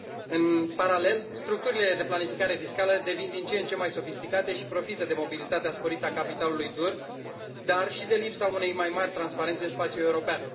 În paralel, structurile de planificare fiscală devin din ce în ce mai sofisticate și profită de mobilitatea sporită a capitalului, dar și de lipsa unei mai mari transparențe în spațiul european.